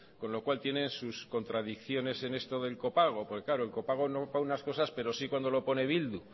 con lo cual tienen sus contradicciones en esto del copago porque claro el copago no para unas cosas pero sí cuando lo pone bildu